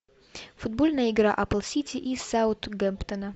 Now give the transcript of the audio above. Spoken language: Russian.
футбольная игра апл сити и саутгемптона